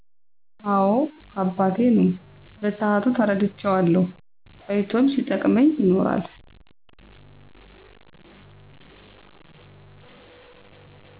አወ አባቴ ነው በሰአቱ ተረድቸዋለሁ ቆይቶም ሲጠቅመኝ ይኖራል